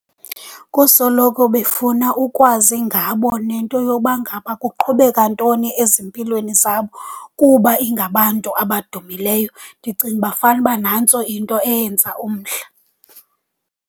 Kusoloko befuna ukwazi ngabo nento yoba ngaba kuqhubeka ntoni ezimpilweni zabo kuba ingabantu abadumileyo. Ndicinga uba fanuba nantso into eyenza umdla.